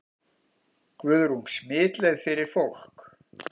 Guðrún: Smitleið fyrir fólk?